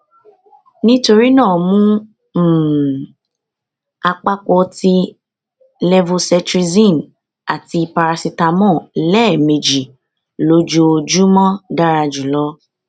nitorina mu um apapo ti levocetrizine ati paracetamol lẹẹmeji lojoojumọ dara julọ